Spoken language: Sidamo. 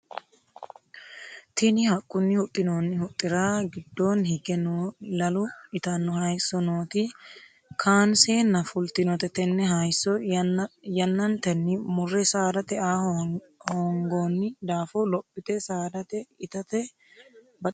Tinni haqunni huxinoonni huxira gidoonni hige noo lalu itano hayiso nooti kaanseenna fultinote tenne hayiso yannantenni mure saadate aa hoongoonni daafo lophite saadate itate baxisanoki gede ikite baino.